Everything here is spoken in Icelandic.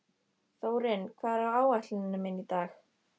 Þórinn, hvað er á áætluninni minni í dag?